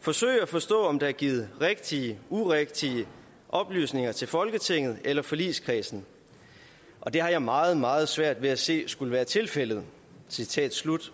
forsøge at forstå om der er givet rigtige urigtige oplysninger til folketinget eller forligskredsen og det har jeg meget meget svært ved at se skulle være tilfældet citat slut